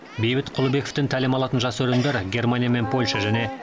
бейбіт құлыбековтен тәлім алатын жас өрендер германия мен польша және